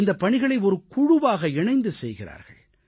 இந்தப் பணிகளை குழுவாக இணைந்து செய்கிறார்கள்